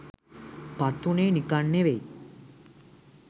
පත්වුණේ නිකන් නෙවෙයි